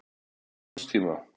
Til skamms tíma.